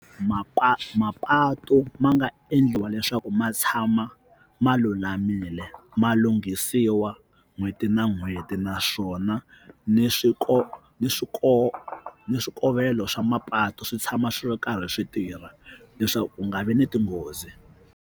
Mapatu mapatu ma nga endliwa leswaku ma tshama ma lulamile ma lunghisiwa n'hweti na n'hweti naswona ni ni swikovelo swa mapatu swi tshama swi ri karhi swi tirha leswaku ku nga vi ni tinghozi.